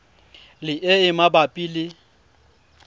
le e e mabapi le